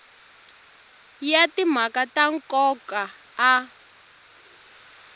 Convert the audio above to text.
ya timhaka ta nkoka a